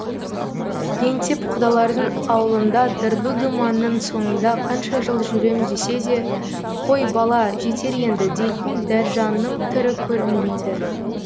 еңсеп құдалардың аулында дырду думанның соңында қанша жыл жүрем десе де қой бала жетер енді дейтін дәржанның түрі көрінбейді